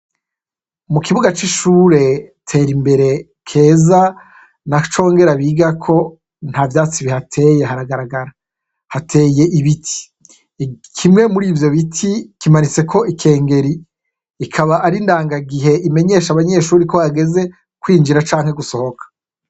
Mukibuga c'ishure Terimbere, Keza na Congera bigako ntavyatsi bihateye haragaragara, hateye ibiti. Kimwe muri ivyo biti kimanitseko ikengeri, ikaba ari indanga gihe imenyesha abanyeshure ko hageze kwinjira canke gusohoka.